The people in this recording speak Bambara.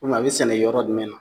U biyɛn a be sɛnɛ yɔrɔ jumɛn na